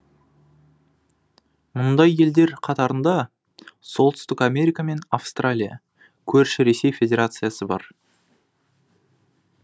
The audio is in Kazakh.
мұндай елдер қатарында солтүстік америка мен австралия көрші ресей федерациясы бар